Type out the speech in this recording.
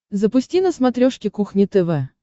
запусти на смотрешке кухня тв